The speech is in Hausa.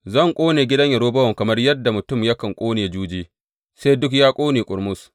Zan ƙone gidan Yerobowam kamar yadda mutum yakan ƙone juji, sai duk ya ƙone ƙurmus.